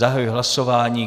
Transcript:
Zahajuji hlasování.